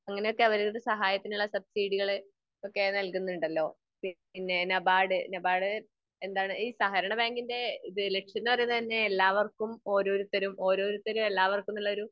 അങ്ങിനെ ഒക്കെ അവരുടെ സഹായത്തിനുള്ള സബ്‌സിഡികൾ ഒക്കെ നല്കുന്നുണ്ടല്ലോ. പിന്നെ നബാഡ്, നബാഡ് എന്താണ് ഈ സഹകരണ ബാങ്കിൻ്റെ ഇത് ലക്ഷ്യം എന്ന് പറയുന്നേ തന്നെ എല്ലാവർക്കും ഓരോരുത്തരും ഓരോരുത്തരും എല്ലാവർക്കും എന്നുള്ളൊരു